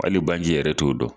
Hali banji yɛrɛ t'o dɔn.